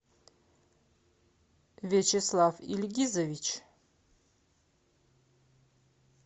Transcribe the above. вячеслав ильгизович